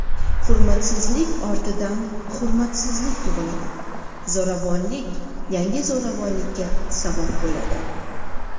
Hurmatsizlik ortidan hurmatsizlik tug‘iladi, zo‘ravonlik yangi zo‘ravonlikka sabab bo‘ladi.